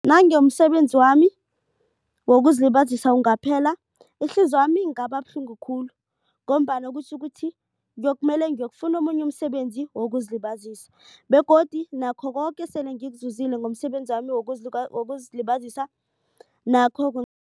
Nange umsebenzi wami wokuzilibazisa ungaphela ihliziywami ingaba buhlungu khulu. Ngombana kutjho ukuthi kuyokumele ngiyokufuna omunye umsebenzi wokuzilibazisa begodu nakho koke sele ngikuzuzile ngomsebenzami wokuzilibazisa nakho